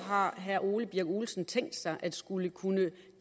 har herre ole birk olesen tænkt sig at skulle kunne